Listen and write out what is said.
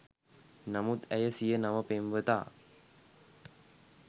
නමුත් ඇය සිය නව පෙම්වතා